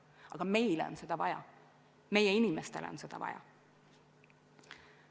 Aga meile on seda vaja, meie inimestele on seda vaja.